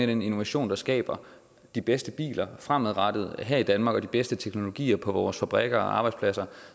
den innovation der skaber de bedste biler fremadrettet her i danmark og de bedste teknologier på vores fabrikker og arbejdspladser